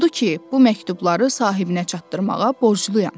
Odur ki, bu məktubları sahibinə çatdırmağa borcluyam.